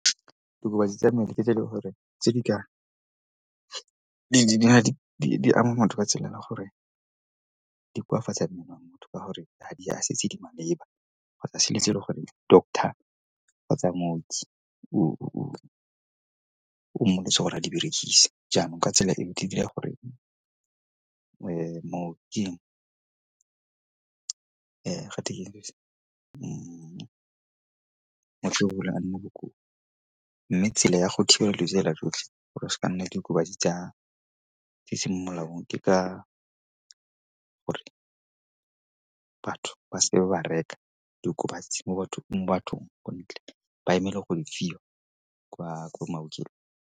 Diokobatsi tsa mmele ke tse e leng gore di ama motho ka tsela ya gore di koafatsa wa motho ka gore ga di a se tse di maleba kgotsa selo se e leng gore doctor kgotsa mooki le tsona a di berekise. Jaanong ka tsela e e dira gore mooki mme tsela ya go thibelela jotlhe gore a seka nna le diokobatsi tse di e seng mo molaong ke ka gore batho ba seke ba reka diokobatsi mo bathong ko ntle, ba emele go di fiwa ko maokelong.